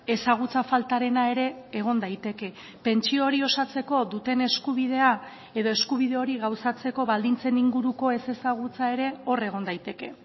ezagutza faltarena ere egon daiteke pentsio hori osatzeko duten eskubidea edo eskubide hori gauzatzeko baldintzen inguruko ezezagutza ere hor egon daiteke